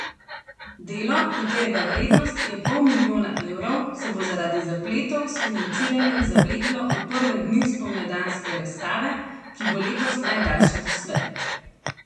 Delo, katerega vrednost je pol milijona evrov, se bo zaradi zapletov s financiranjem zavleklo v prve dni spomladanske razstave, ki bo letos najdaljša doslej.